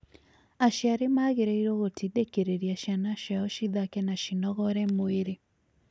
Aciari magĩrĩirũo gũtindĩkĩrĩria ciana ciao cithake na cinogore mwĩrĩ